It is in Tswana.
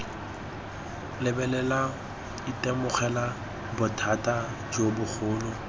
lebelela itemogela bothata jo bogolo